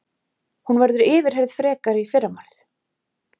Hún verður yfirheyrð frekar í fyrramálið